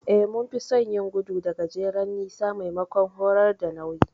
Eh, mun fi son yin gudu da gajeren nisa maimakon horar da nauyi.